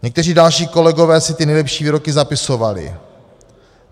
Někteří další kolegové si ty nejlepší výroky zapisovali.